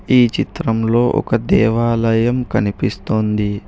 ఈ చిత్రంలో ఒక దేవాలయం కనిపిస్తోంది.